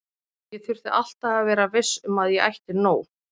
Ég þurfti alltaf að vera viss um að ég ætti nóg.